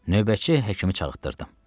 Növbəti həkimi çağırtdırdım.